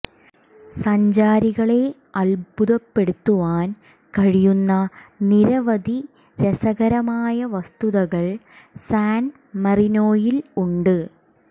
സഞ്ചാരികളെ അത്ഭുതപ്പെടുത്തുവാൻ കഴിയുന്ന നിരവധി രസകരമായ വസ്തുതകൾ സാൻ മറീനോയിൽ ഉണ്ട്